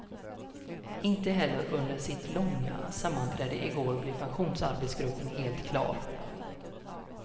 Inte heller under sitt långa sammanträde i går blev pensionsarbetsgruppen helt klar.